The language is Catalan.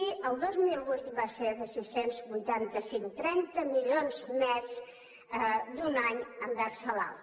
i el dos mil vuit va ser de sis cents i vuitanta cinc trenta milions més d’un any envers l’altre